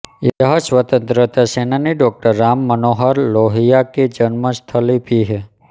यह स्वतंत्रता सेनानी डॉ राम मनोहर लोहिया की जन्म स्थली भी है